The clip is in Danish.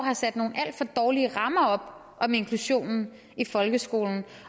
har sat nogle alt for dårlige rammer op om inklusionen i folkeskolen